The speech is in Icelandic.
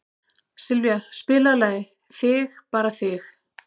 Sylvía, spilaðu lagið „Þig bara þig“.